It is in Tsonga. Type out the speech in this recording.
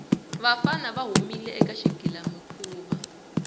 vafana va humile eka xigilamikhuva